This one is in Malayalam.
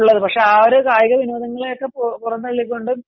പക്ഷെ ആ ഒരു കായിക വിനോദങ്ങളെയൊക്കെ പുറം തള്ളികൊണ്ടും